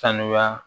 Sanuya